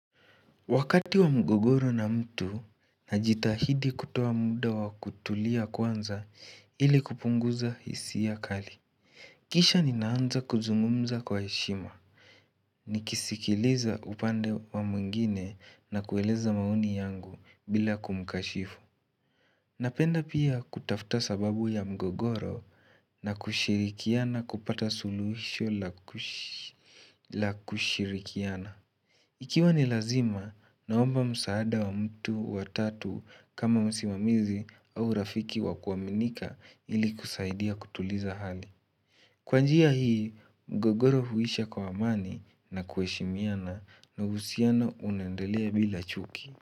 Wakati wa mgogoro na mtu na jitahidi kutoa muda wa kutulia kwanza ili kupunguza hisia ya kali. Kisha ninaanza kuzungumza kwa heshima. Nikisikiliza upande wa mwingine na kueleza maoni yangu bila kumkashifu. Napenda pia kutafta sababu ya mgogoro na kushirikiana kupata suluhisho la kushirikiana. Ikiwa ni lazima, naomba msaada wa mtu wa tatu kama musimamizi au rafiki wa kuaminika ili kusaidia kutuliza hali. Kwanjia hii, mgogoro huisha kwa amani na kueshimiana na uhusiano unaendelea bila chuki.